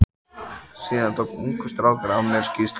Síðan tók ungur strákur af mér skýrslu.